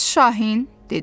Bəs şahin, dedi.